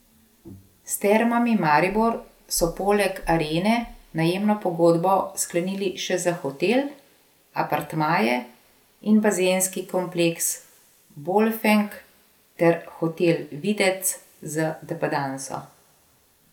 S Termami Maribor so poleg Arene najemno pogodbo sklenili še za hotel, apartmaje in bazenski kompleks Bolfenk ter hotel Videc z depandanso.